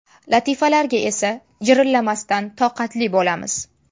Latifalarga esa jirillamasdan toqatli bo‘lamiz.